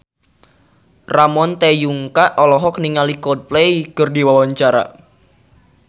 Ramon T. Yungka olohok ningali Coldplay keur diwawancara